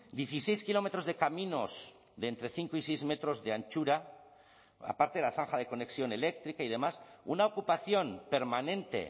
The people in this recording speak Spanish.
dieciseis kilómetros de caminos de entre cinco y seis metros de anchura aparte de la zanja de conexión eléctrica y demás una ocupación permanente